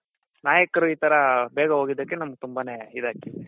ನಾಯಕರು ಈ ತರ ಬೇಗ ಹೊಗಿದಕ್ಕೆ ನಮ್ಮಗೆ ತುಂಬಾನೇ ಇದ್ ಆಯ್ತು .